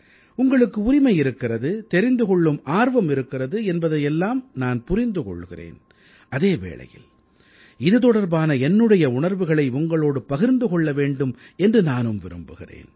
உங்களுக்கு உரிமை இருக்கிறது தெரிந்து கொள்ளும் ஆர்வம் இருக்கிறது என்பதையெல்லாம் நான் புரிந்து கொள்கிறேன் அதே வேளையில் இது தொடர்பான என்னுடைய உணர்வுகளை உங்களோடு பகிர்ந்து கொள்ள வேண்டும் என்று நானும் விரும்புகிறேன்